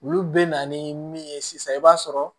Olu bɛ na ni min ye sisan i b'a sɔrɔ